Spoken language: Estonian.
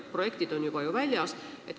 Projektid on juba väljas.